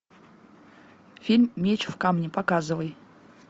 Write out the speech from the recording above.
фильм меч в камне показывай